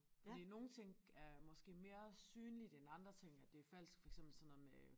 Fordi nogle ting er måske mere synligt end andre ting at det er falsk for eksempel sådan noget med